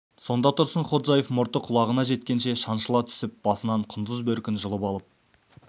сонда тұрсынходжаев мұрты құлағына жеткенше шаншыла түсіп басынан құндыз бөркін жұлып алып